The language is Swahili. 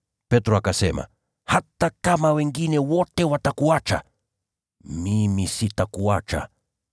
Petro akasema, “Hata kama wengine wote watakuacha, mimi sitakuacha.”